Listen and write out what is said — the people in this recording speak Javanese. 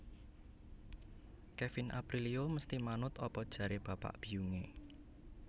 Kevin Aprilio mesti manut apa jare bapa biyung e